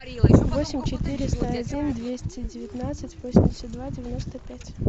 восемь четыреста один двести девятнадцать восемьдесят два девяносто пять